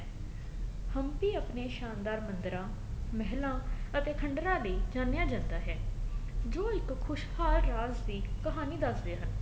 ਹਮਪੀ ਆਪਣੇ ਸ਼ਾਨਦਾਰ ਮੰਦਰਾ ਮਹਿਲਾਂ ਅਤੇ ਖੰਡਰਾ ਲਈ ਜਾਣਿਆ ਜਾਂਦਾ ਹੈ ਜੋ ਇੱਕ ਖੁਸ਼ਹਾਲ ਰਾਜ ਦੀ ਕਹਾਣੀ ਦਸ ਰਿਹਾ